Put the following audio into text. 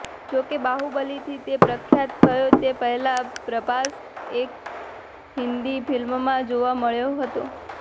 જો કે બાહુબલીથી તે પ્રખ્યાત થયો તે પહેલા પ્રભાસ એક હિન્દી ફિલ્મમાં જોવા મળ્યો હતો